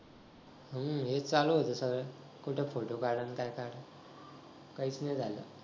हो हेच चालू होत सगळं कुठं फोटो काढा नि काय काढा काहीच नाही झालं